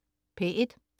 P1: